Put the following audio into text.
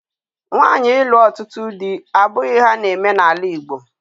Nwaanyị ịlụ ọtụtụ di abụghị ihe a na-eme n'ala Igbo.